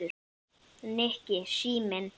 Nikki, síminn